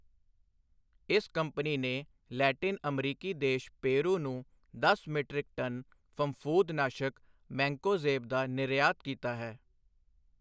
ਇਸ ਕੰਪਨੀ ਨੇ ਲੈਟਿਨ ਅਮਰੀਕੀ ਦੇਸ਼ ਪੇਰੂ ਨੂੰ ਦਸ ਮੀਟ੍ਰਿਕ ਟਨ ਫਫੂੰਦ ਨਾਸ਼ਕ ਮੈਂਕੋਜ਼ੇਬ ਦਾ ਨਿਰਯਾਤ ਕੀਤਾ ਹੈ।